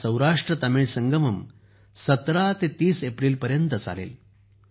हा सौराष्ट्रतमिळ संगम 17 ते 30 एप्रिलपर्यंत चालेल